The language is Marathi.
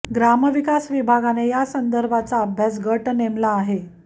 ग्रामविकास विभागाने या संदर्भाचा अभ्यास गट नेमला आहे